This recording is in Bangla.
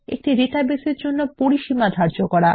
একটি ডাটাবেসের জন্য পরিসীমা ধার্য করা